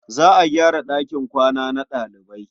Za a gyara ɗakin kwana na ɗalibai.